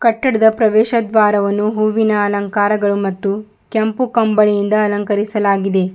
ಕಟ್ಟಡದ ಪ್ರವೇಶ ದ್ವಾರವು ಹೂವಿನ ಅಲಂಕಾರ ಮತ್ತು ಕೆಂಪು ಕಂಬಳಿಯಿಂದ ಅಲಂಕರಿಸಲಾಗಿದೆ.